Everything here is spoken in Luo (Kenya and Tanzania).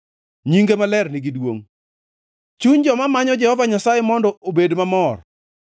Nyinge maler nigi duongʼ; chuny joma manyo Jehova Nyasaye mondo obed mamor.